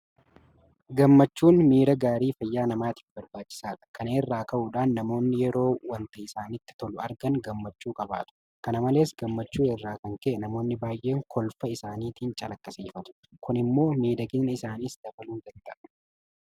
Gammachuun miira gaarii fayyaa namaatiif barbaachisaadha. Kana irraa ka'uudhaan namoonni yeroo waanta isaanitti tolu argan gammachuu qabaatu. Kana malees gammachuu irraa kan ka'e namoonni baay'een kolfa isaaniitiin calaqqisiifatu. Kun immoo miidhagina isaaniis dabaluu danda'a.